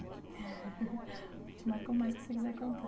O que te marcou mais que você quiser contar.